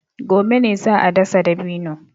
Gobe ne za a dasa dabino.